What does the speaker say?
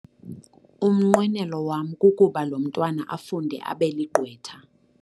Umnqwenelo wam kukuba lo mntwana afunde abe ligqwetha.